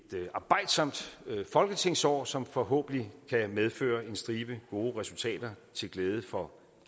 arbejdsomt folketingsår som forhåbentlig kan medføre en stribe gode resultater til glæde for